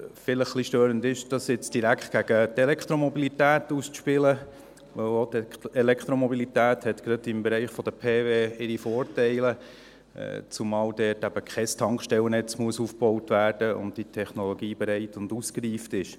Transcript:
Vielleicht etwas störend ist, das jetzt direkt gegen die Elektromobilität auszuspielen, weil auch die Elektromobilität hat gerade im Bereich der PW ihre Vorteile, zumal dort eben kein Tankstellennetz aufgebaut werden muss und die Technologie bereit und ausgereift ist.